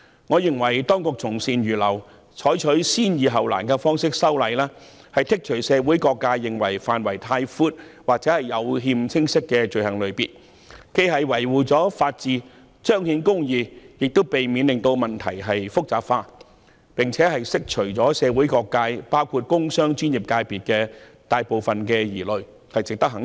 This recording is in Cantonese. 我認為當局從善如流，採取"先易後難"的方式修例，剔除社會各界認為範圍太闊或有欠清晰的罪類，既能維護法治和彰顯公義，亦能避免問題變得複雜，並且釋除社會各界，包括工商專業界別的大部分疑慮。